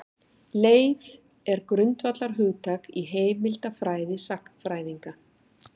Leif er grundvallarhugtak í heimildafræði sagnfræðinga.